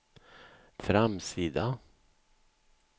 framsida